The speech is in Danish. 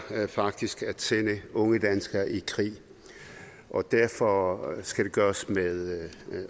faktisk at sende unge danskere i krig og derfor skal det gøres med